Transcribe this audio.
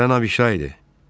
Gələn Abişay idi.